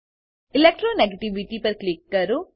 electro negativity પર click કરો